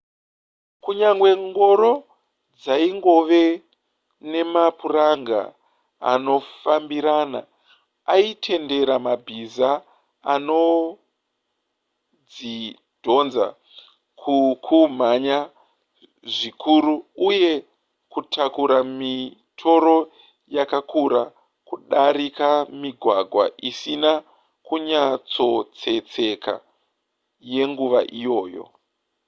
kunyangwe ngoro dzaingove nemapuranga anofambirana aitendera mabhiza anodzidhonza kukumhanya zvikuru uye kutakura mitoro yakakura kudarika migwagwa isina kunyatsotsetseka yenguva iyoyo